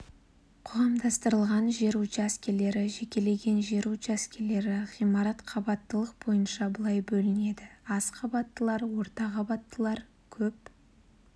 қоғамдастырылған жер учаскелері жекеленген жер учаскелері ғимарат қабаттылық бойынша былай бөлінеді аз қабаттылар орта қабаттылар көп